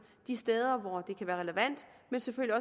de steder hvor det kan være relevant men selvfølgelig